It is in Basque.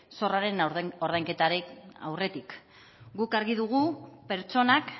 zorraren ordainketaren aurretik guk argi dugu pertsonak